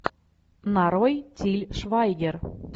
нарой тиль швайгер